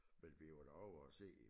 Men vi var da ovre og se